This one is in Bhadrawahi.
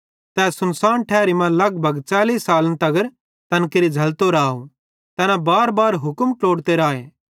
ते तै सुनसान ठैरी मां लगभग 40 सालन तगर तैन केरि झ़ैल्लतो राव तैना बारबार हुक्म ट्लोड़ते राए